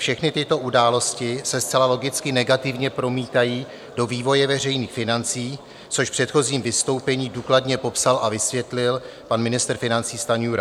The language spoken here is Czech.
Všechny tyto události se zcela logicky negativně promítají do vývoje veřejných financí, což v předchozím vystoupení důkladně popsal a vysvětlil pan ministr financí Stanjura.